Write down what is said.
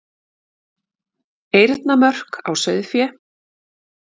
Eyrnamörk á sauðfé.